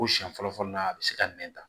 Ko siɲɛ fɔlɔ fɔlɔ la a bɛ se ka nɛn ta